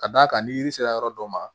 Ka d'a kan ni yiri sera yɔrɔ dɔ ma